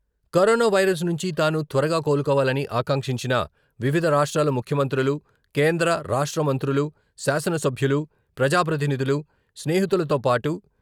corona virus నుంచి తాను త్వరగా కోలుకోవాలని ఆకాంక్షించిన వివిధ రాష్ట్రాల ముఖ్యమంత్రులు, కేంద్ర, రాష్ట్ర మంత్రులు, శాసనసభ్యులు, ప్రజాప్రతినిధులు, స్నేహితులతో పాటు..